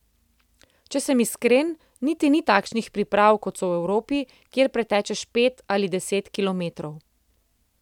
Če sem iskren, niti ni takšnih priprav kot so v Evropi, kjer pretečeš pet ali deset kilometrov.